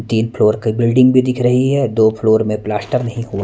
तीन फ्लोर की बिल्डिंग भी दिख रही है दो फ्लोर में प्लास्टर नहीं --